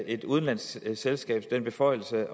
et udenlandsk selskab den beføjelse